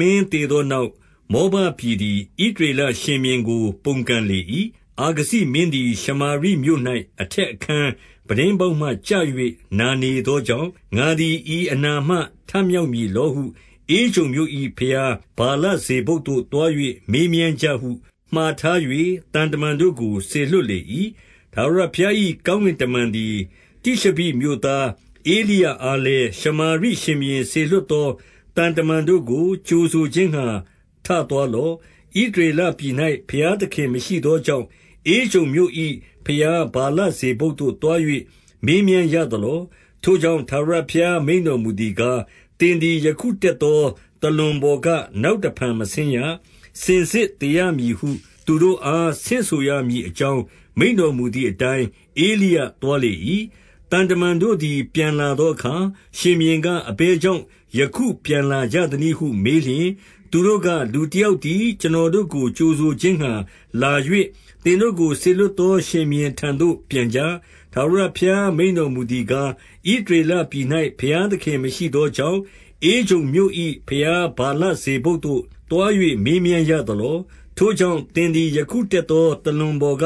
မင်း သေသောနောက်၊ မောဘပြည် သည် ဣသရေလရှင်ဘုရင်ကို ပုန်ကန်လေ၏။ အာခဇိမင်းသည် ရှမာရိမြို့၌ အထက်အခန်း ပြတင်းပေါက်မှ ကျ၍နာနေသောကြောင့်၊ ငါသည် ဤအနာမှာ ထမြောက်မည်လောဟု ဧကြုန်မြို့၏ ဘုရား ဗာလဇေဗုပ်သို့ သွား၍ မေးမြန်းကြဟု မှာထား၍ သံတမန်တို့ကို စေလွှတ်လေ၏။ ထာဝရဘုရား၏ ကောင်းကင်တမန်သည် တိရှဘိမြို့သား ဧလိယအားလည်း၊ ရှမာရိရှင်ဘုရင် စေလွှတ်သော သံတမန်တို့ကို ကြိုဆိုခြင်းငှါ ထသွားလော့။ ဣသရေလပြည်၌ ဘုရားသခင်မရှိသောကြောင့်၊ ဧကြုန် မြို့၏ဘုရားဗာလဇေဗုပ်သို့သွား၍ မေးမြန်းရသလော။ ထိုကြောင့်ထာဝရဘုရားမိန့်တော်မူသည်ကား၊ သင်သည် ယခု တက်သောသာလွန်ပေါ်က နောက်တဖန် မဆင်းရ၊ စင်စစ်သေရမည်ဟု သူတို့အားဆင့်ဆိုရမည် အကြောင်းမိန့်တော်မူသည်အတိုင်း၊ ဧလိယသွားလေ၏။ သံတမန်တို့သည် ပြန်လာသောအခါ ရှင်ဘုရင်က၊ အဘယ်ကြောင့်ယခုပြန်လာကြသနည်းဟု မေးလျှင်၊ သူတို့က၊ လူတယောက်သည် ကျွန်တော်တို့ကို ကြိုဆိုခြင်းငှါ လာ၍ သင်တို့ကိုစေလွှတ်သော ရှင်ဘုရင် ထံသို့ ပြန်ကြ။ ထာဝရဘုရား မိန့်တော်မူသည်ကား၊ ဣသရလပြည်၌ ဘုရားသခင် မရှိသောကြောင့်၊ ဧကြုန် မြို့၏ ဘုရားဗာလဇေဗုပ်သို့သွား၍ မေးမြန်းရသလော။ ထိုကြောင့် သင်သည်ယခုတတ်သော သာလွန်ပေါ်က